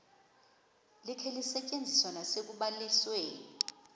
likhe lisetyenziswe nasekubalisweni